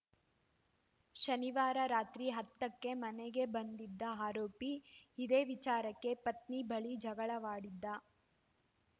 ಶನಿವಾರ ರಾತ್ರಿ ಹತ್ತಕ್ಕೆ ಮನೆಗೆ ಬಂದಿದ್ದ ಆರೋಪಿ ಇದೇ ವಿಚಾರಕ್ಕೆ ಪತ್ನಿ ಬಳಿ ಜಗಳವಾಡಿದ್ದ